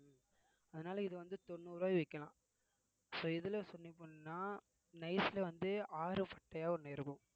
உம் அதனால இது வந்து தொண்ணூறு ரூவாய் விக்கலாம் so இதுல சொல்லி பண்ணா nice ல வந்து ஆறு ஒண்ணு இருக்கும்